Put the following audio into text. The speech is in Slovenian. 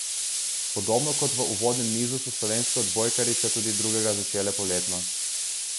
Podobno kot v uvodnem nizu so slovenske odbojkarice tudi drugega začele poletno.